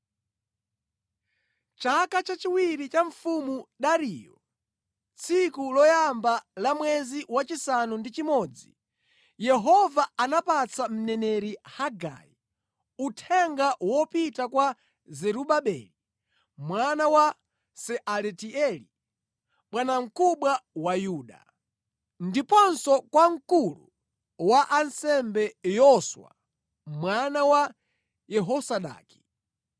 Chaka chachiwiri cha Mfumu Dariyo, tsiku loyamba la mwezi wachisanu ndi chimodzi, Yehova anapatsa mneneri Hagai uthenga wopita kwa Zerubabeli mwana wa Sealatieli, bwanamkubwa wa Yuda, ndiponso kwa mkulu wa ansembe Yoswa mwana wa Yehozadaki: